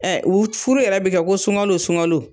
u furu yɛrɛ bɛ kɛ ko sungalo sungalo